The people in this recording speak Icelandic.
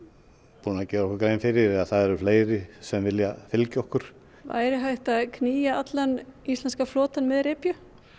búin að gera okkur grein fyrir að það eru fleiri sem vilja fylgja okkur væri hægt að knýja allan íslenska flotann með repju